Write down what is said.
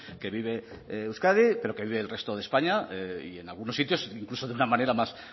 que vive euskadi pero que vive el resto de españa y en algunos sitios incluso de una manera más